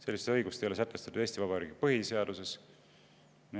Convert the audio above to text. Sellist õigust ei ole sätestatud Eesti Vabariigi põhiseaduses.